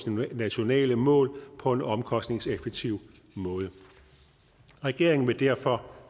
nationale mål på en omkostningseffektiv måde regeringen vil derfor